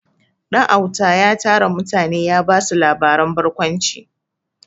Ɗanauta ya tara mutane ya ba su labaren barkwanci.